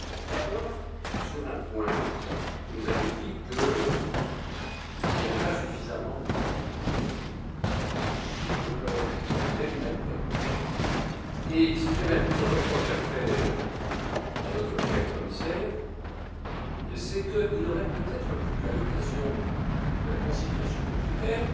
D'abord sur un point vous nous avez dit qu'il n'y avait pas suffisamment de crédits pour l'aide humanitaire et, si j'avais un petit reproche à faire à notre cher commissaire, ce serait qu'il aurait peut être pu, à l'occasion de la conciliation budgétaire,